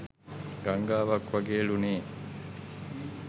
ගංගාවක් වගේ ලු නේ